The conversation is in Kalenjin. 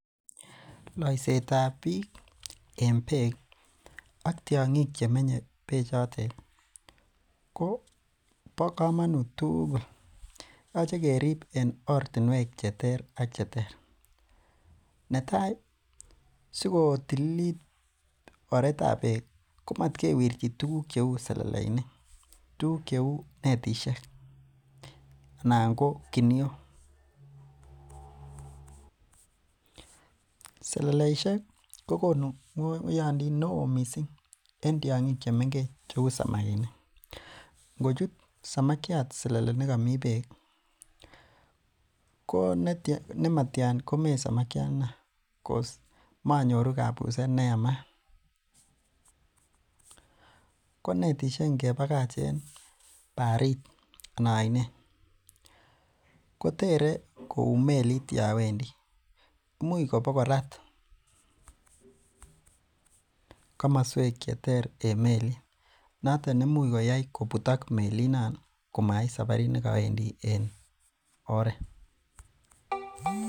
Loisetab biik en beek ak tiongik che menye bechotet kobo kamanut tugul. Yoche kerib en ortinwek cheterter ak cheter. Netai sikotililit oretab beek, komat kerchi tuguk cheu seleleinik. Tuguk cheu netisiek anan ko kiniok. Seleleisiek kogonu ngoyondit neo mising en tiongik chemengech cheu samakinik. Ngochut samakiat selele nekami beek ko nematian komee samakiandono cause manyoru kapuset ne yamat. Konetisiek ngebakach en barit anan ainet, kotere kou melit yowendi. Imuch bokorat komoswek cheter en melit. Noton nemuch koyai kobutak melinon komait sabarit ne kawendi en oret.